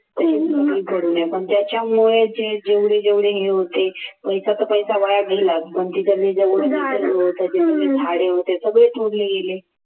पण त्याच्यामुळे जे जेवढे जेवढे हे होते पैसा तर पैसा वाया गेला पण झाडे होते सगळे तोडले गेले.